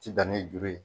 Ti dan ni juru ye